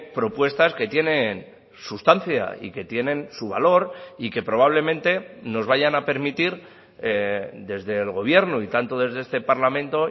propuestas que tienen sustancia y que tienen su valor y que probablemente nos vayan a permitir desde el gobierno y tanto desde este parlamento